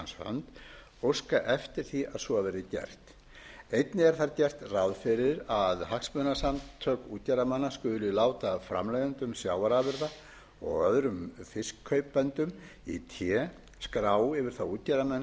hans hönd óskað eftir því að svo verði gert einnig er þar gert ráð fyrir að hagsmunasamtök útgerðarmanna skuli láta framleiðendum sjávarafurða og öðrum fiskkaupendum í té skrá yfir þá útgerðarmenn